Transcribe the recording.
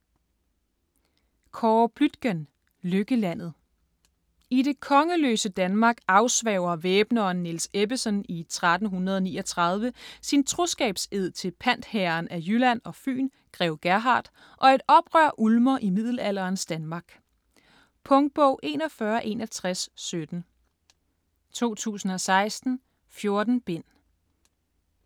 Bluitgen, Kåre: Lykkelandet I det kongeløse Danmark afsværger væbneren Niels Ebbesen i 1339 sin troskabsed til pantherren af Jylland og Fyn grev Gerhard, og et oprør ulmer i middelalderens Danmark. Punktbog 416117 2016. 14 bind.